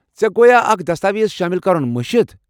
ژےٚ گویا اكھ دستاویز شٲمِل کرُن مٔشِتھ ؟